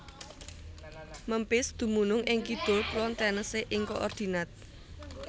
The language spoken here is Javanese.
Memphis dumunung ing kidul kulon Tennessee ing koordinat